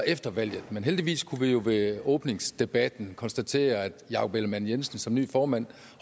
efter valget men heldigvis kunne vi jo ved åbningsdebatten konstatere at jakob ellemann jensen som ny formand